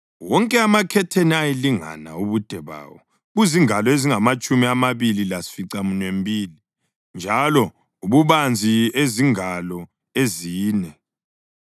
Wonke amakhetheni ayelingana ubude bawo buzingalo ezingamatshumi amabili lesificaminwembili njalo ububanzi ezingalo ezine.